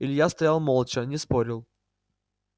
илья стоял молча не спорил